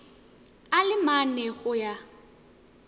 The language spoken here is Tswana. a le mane go ya